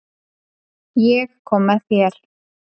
Ég kom með þér.